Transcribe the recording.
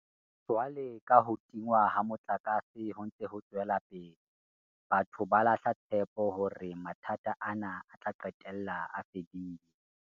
Jwalo ka ha ho tingwa ha motlakase ho ntse ho tswela pele, batho ba lahla tshepo hore mathata ana a tla qetella a fedile.